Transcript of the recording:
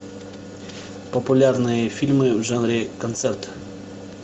популярные фильмы в жанре концерт